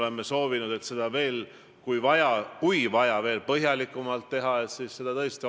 Minu hinnangul ei jäta selline riigijuhtidepoolne Eesti õigusriikluse alustalade õõnestamine head muljet.